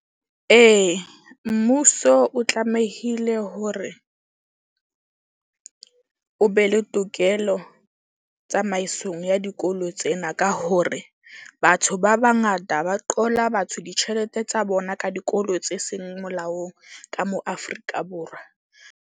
Ee, mmuso o tlamehile hore o be le tokelo tsamaisong ya dikolo tsena. Ka hore batho ba bangata ba qola batho ditjhelete tsa bona ka dikolo tse seng molaong, ka mo Afrika Borwa.